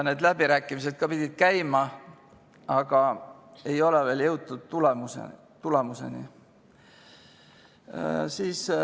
Need läbirääkimised ka pidid käima, aga ei ole veel jõutud tulemuseni.